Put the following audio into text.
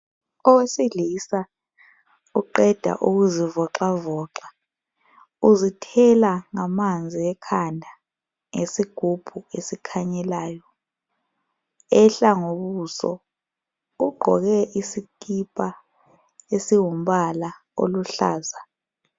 Owesilisa oqeda ukuzivoxavoxa uzithela ngamanzi ekhanda ngesigubhu esikhanyelayo ehla ngobuso ugqoke isikipa esingumbala oluhlaza.